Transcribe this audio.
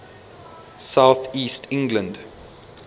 south east england